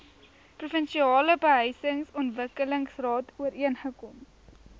provinsiale behuisingsontwikkelingsraad ooreengekom